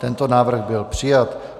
Tento návrh byl přijat.